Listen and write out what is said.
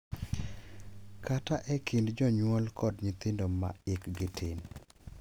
Kata e kind jonyuol kod nyithindo ma hikgi tin.